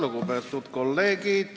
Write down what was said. Lugupeetud kolleegid!